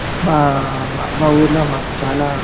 మా మా ఊరిలో మాకు చాన --